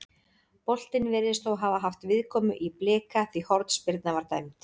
Boltinn virðist þó hafa haft viðkomu í Blika því hornspyrna var dæmd.